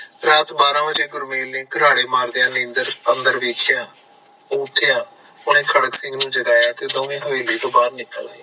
ਰਾਤ ਬਾਹਰਾ ਵਜੇ ਗੁਰਮੇਲ ਨੇ ਕਰਾੜੇ ਮਾਰਦੀਆਂ ਨੀਂਦਰ ਅੰਦਰ ਵੇਖਿਆ ਉਹ ਉਠਿਆ ਓਹਨੇ ਖੜਕ ਸਿੰਗ ਨੂੰ ਜਗਾਇਆ ਤੇ ਦੋਵੇ ਹਵੇਲੀ ਤੋਂ ਬਾਰ ਨਿਕਲ ਆਏ